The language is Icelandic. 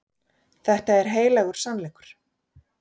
Þetta er heilagur sannleikur.